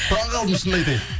таңқалдым шынымды айтайын